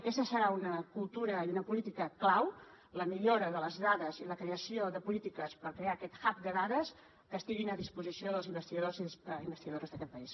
aquesta serà una cultura i una política clau la millora de les dades i la creació de polítiques per crear aquest hub de dades que estiguin a disposició dels investigadors i investigadores d’aquest país